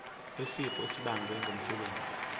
wesifo esibagwe ngumsebenzi